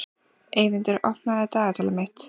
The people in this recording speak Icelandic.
Eyvindur, opnaðu dagatalið mitt.